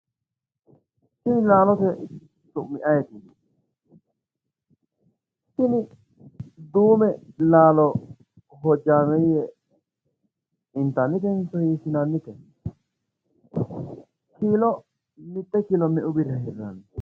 Tini laalote su'mi ayeeti tini duume laalo hojjameeyye inatnnitenso hiissinannite kiilo mitte kiilo me"u birrira hirranni